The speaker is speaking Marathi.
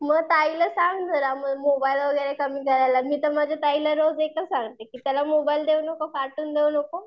मग ताईला सांग जरा मग मोबाईल वगैरे कमी द्यायला. मी तर माझ्या ताईला एकाच सांगते कि त्याला मोबाईल देऊ नको, कार्टून देऊ नको.